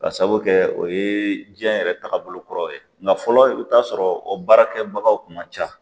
Ka sabu kɛ o ye diɲɛ yɛrɛ taaga bolokɔrɔ ye nka fɔlɔ i bɛ t'a sɔrɔ o baarakɛbagaw kun man ca